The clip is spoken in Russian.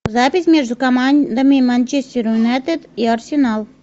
запись между командами манчестер юнайтед и арсенал